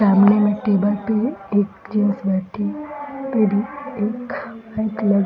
सामने में टेबल पे एक चीज़ रखी पड़ी एक